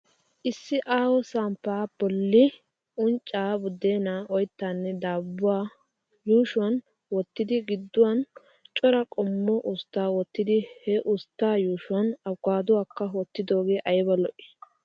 Issi aaho samppa bollan unccaa, buddeenaa, oyittaanne daabbuwa yuushuwan wottidi gidduwan cora qommo usttaa wottidi he ustaa yuushuwan abkkaaduwa wottidoogee ayiba lo'i!